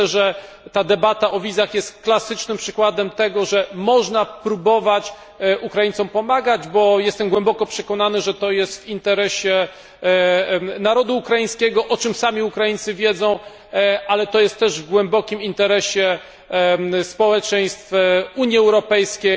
Myślę, że ta debata o wizach jest klasycznym przykładem tego, że można próbować Ukraińcom pomagać, bo jestem głęboko przekonany, że to jest w interesie narodu ukraińskiego, o czym sami Ukraińcy wiedzą, ale to jest też w głębokim interesie społeczeństw Unii Europejskiej.